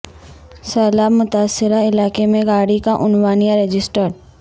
سیلاب متاثرہ علاقے میں گاڑی کا عنوان یا رجسٹرڈ